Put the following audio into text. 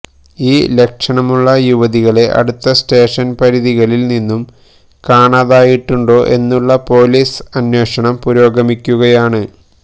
ഈ ലക്ഷണമുള്ള യുവതികളെ അടുത്ത സ്റ്റേഷൻ പരിധികളിൽ നിന്നും കാണാതായിട്ടുണ്ടോ എന്നുള്ള പൊലീസ് അന്വേഷണം പുരോഗമിക്കുകയാണ്